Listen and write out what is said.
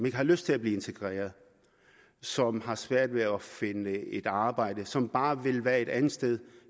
ikke har lyst til at blive integreret som har svært ved at finde et arbejde og som bare vil være et andet sted